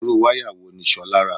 Irú wáyà wo ni Ṣolá rà?